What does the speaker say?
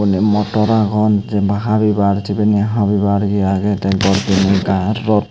iyen motor agon jenpai habibar sibeni habibar ye agey tey gor doney gaaj rot.